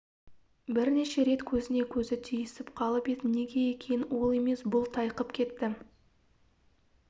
бірнеше рет көзіне көзі түйісіп қалып еді неге екенін ол емес бұл тайқып кетті